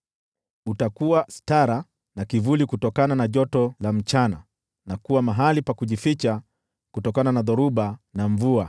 Utakuwa sitara na kivuli kutokana na joto la mchana, na kuwa mahali pa kujificha kutokana na dhoruba na mvua.